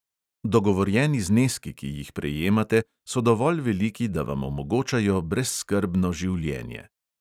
Dogovorjeni zneski, ki jih prejemate, so dovolj veliki, da vam omogočajo brezskrbno življenje.